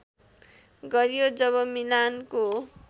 गरियो जब मिलानको